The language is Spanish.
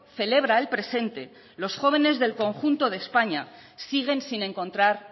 celebra el presente los jóvenes del conjunto de españa siguen sin encontrar